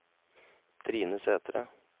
Trine Sætre